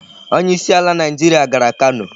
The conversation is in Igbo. Onye isi ala Naịjirịa gara Kano.